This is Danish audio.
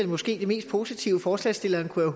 måske det mest positive forslagsstilleren kunne